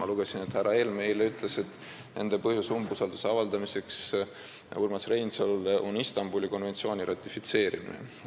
Ma lugesin, et härra Helme ütles eile, et põhjus, miks nad Urmas Reinsalule umbusaldust avaldavad, on Istanbuli konventsiooni ratifitseerimine.